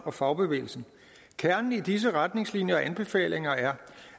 og fagbevægelsen kernen i disse retningslinjer og anbefalinger er